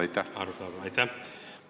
Aitäh!